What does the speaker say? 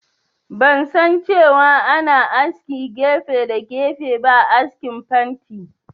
Ban san cewa ana aske gefe da gefe ba a askin fanti